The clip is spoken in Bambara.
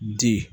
Di